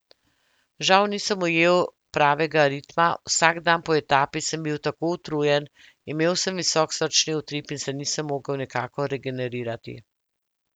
Žal nisem ujel pravega ritma, vsak dan po etapi sem bil tako utrujen, imel sem visok srčni utrip in se nisem mogel nikakor regenerirati.